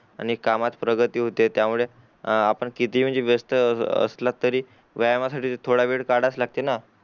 आणि कामत प्रगती पण होते त्या मिळे अ आपण कितीहि व्यस्थ असलात तरी व्यायामासाठी थोडा वेळ काढायलाच लागते ना